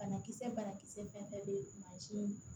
Banakisɛ banakisɛ fɛn fɛn bɛ mansin